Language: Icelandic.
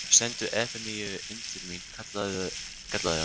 Sendu Efemíu inn til mín, kallaði hann.